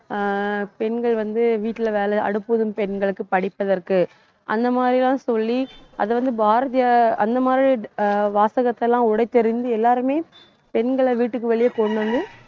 ஆஹ் பெண்கள் வந்து, வீட்ல வேலை அடுப்பு ஊதும் பெண்களுக்கு படிப்பு எதற்கு அந்த மாதிரி எல்லாம் சொல்லி அதை வந்து, பாரதியார் அந்த மாதிரி, ஆஹ் வாசகத்தை எல்லாம் உடைத்தெறிந்து எல்லாருமே பெண்களை வீட்டுக்கு வெளியே கொண்டு வந்து